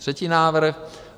Třetí návrh.